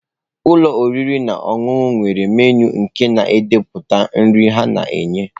Ụlọ oriri na ọṅụṅụ nwere menụ nke na-edepụta nri ha na-enye.